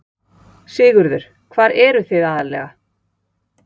Sigurður: Hvar eruð þið aðallega?